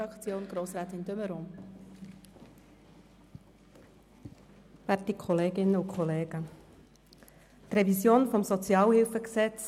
Das gibt Ungleichheiten, die zu Unstimmigkeiten führen und den sozialen Ausgleich sehr stark dämpfen.